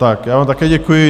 Tak já vám také děkuji.